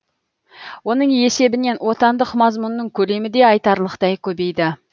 оның есебінен отандық мазмұнның көлемі де айтарлықтай көбейді